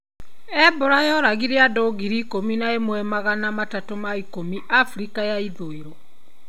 Ebola yoragire andũ ngiri ikũmi na ĩmwe magana matatũ ma ikũmi Afrika ya ithũĩro.